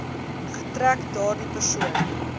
getrek daardie persoon